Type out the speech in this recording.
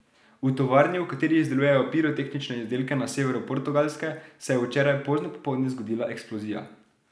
V tovarni, v kateri izdelujejo pirotehnične izdelke na severu Portugalske, se je včeraj pozno popoldne zgodila eksplozija.